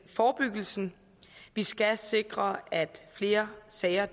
forebyggelsen vi skal sikre at flere sager